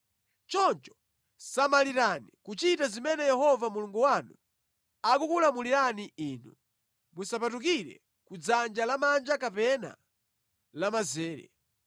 Choncho samalirani kuchita zimene Yehova Mulungu wanu akukulamulirani inu, musapatukire kudzanja lamanja kapena lamanzere.